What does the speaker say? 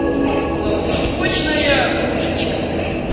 поплавочная удочка